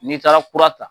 N'i taara kura ta